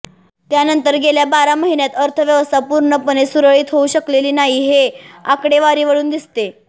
त्यानंतर गेल्या बारा महिन्यांत अर्थव्यवस्था पूर्णपणे सुरळीत होऊ शकलेली नाही हे आकडेवारीवरून दिसते